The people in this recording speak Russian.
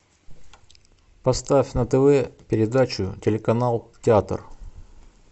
поставь на тв передачу телеканал театр